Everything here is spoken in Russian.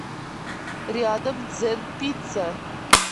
рядом дзен пицца